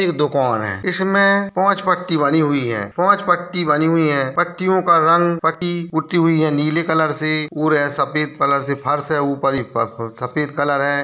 एक दुकान है इसमें पाँच पट्टी बनी हुई है पाँच पट्टी बनी हुई है पट्टियों का रंग पुतीं हुई हैं नीले कलर से और है सफ़ेद कलर से फर्श है ऊपर सफ़ेद कलर है।